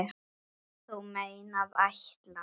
Þú meinar ætlar.